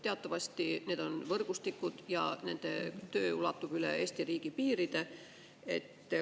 Teatavasti need on võrgustikud ja nende töö ulatub üle Eesti riigi piiride.